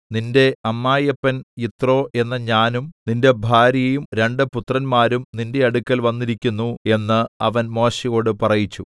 നിന്റെ അമ്മായിയപ്പൻ യിത്രോ എന്ന ഞാനും നിന്റെ ഭാര്യയും രണ്ടു പുത്രന്മാരും നിന്റെ അടുക്കൽ വന്നിരിക്കുന്നു എന്ന് അവൻ മോശെയോട് പറയിച്ചു